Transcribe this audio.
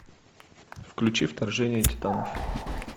включи вторжение титанов